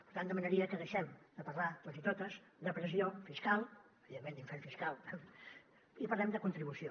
per tant demanaria que deixem de parlar tots i totes de pressió fiscal evidentment d’infern fiscal i parlem de contribució